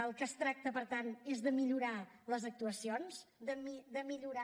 del que es tracta per tant és de millorar les actuacions de millorar